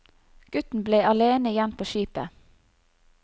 Gutten ble alene igjen på skipet.